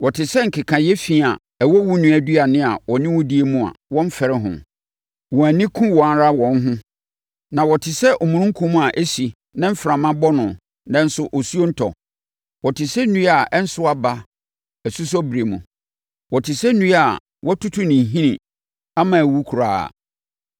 Wɔte sɛ nkekaeɛ fi a ɛwɔ wo nua aduane a ɔne wo di mu a wɔmfɛre ho. Wɔn ani ku wɔn ara wɔn ho. Na wɔte sɛ omununkum a ɛsi na mframa bɔ no, nanso osuo ntɔ. Wɔte sɛ nnua a ɛnso aba asusɔberɛ mu. Wɔte sɛ nnua a wɔatutu ne nhini ama awu koraa.